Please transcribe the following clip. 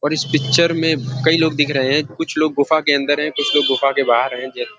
और इस पिक्चर में कई लोग दिख रहे हैं कुछ लोग गुफा के अंदर हैं कुछ लोग गुफा के बाहर हैं ज --